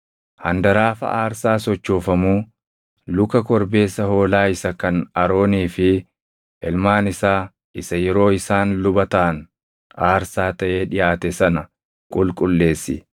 “Handaraafa aarsaa sochoofamuu, luka korbeessa hoolaa isa kan Aroonii fi ilmaan isaa isa yeroo isaan luba taʼan aarsaa taʼee dhiʼaate sana qulqulleessi.